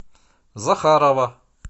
захарова